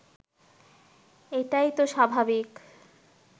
এটাই তো স্বাভাবিক